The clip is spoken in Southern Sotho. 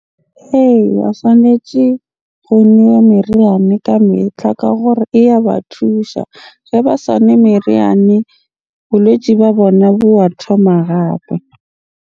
Eya, tshwanetje go nowe meriane ka metlha ka hore e ya ba thusha. Ge ba sa nwe meriane, bolwetsi ba bona bo a thoma gape.